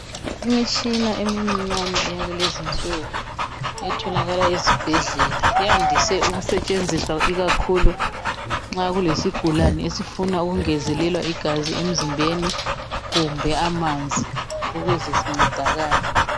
Imitshina emincinyane yakulezinsuku etholakala ezibhedlela yandise ukusetshenziswa ikakhulu nxa kulesigulane esifuna ukungezelelwa igazi emzimbeni kumbe amanzi ukuze sincedakale.